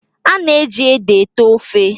A na-eji ede ete ofe?